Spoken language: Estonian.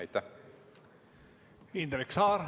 Indrek Saar, palun!